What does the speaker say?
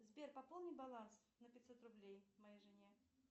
сбер пополни баланс на пятьсот рублей моей жене